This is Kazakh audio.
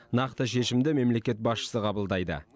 нақты шешімді мемлекет басшысы қабылдайды